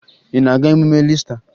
Ị na-aga emume Iista?